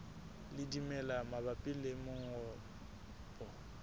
le dimela mabapi le mongobo